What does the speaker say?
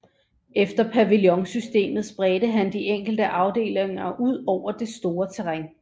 Efter pavillonsystemet spredte han de enkelte afdelinger ud over det store terræn